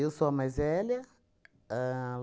sou a mais velha ahn